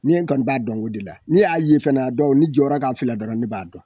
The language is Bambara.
Ni kɔni b'a dɔn o de la n'i y'a ye fana n'a ni jɔra k'a filɛ dɔrɔn ne b'a dɔn.